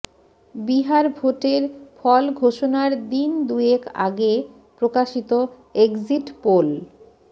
বিহার ভোটের ফল ঘোষণার দিন দুয়েক আগে প্রকাশিত এক্সিট পোল